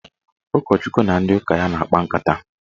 Ụkọchukwu na ndị ụka ya na-akpa nkata.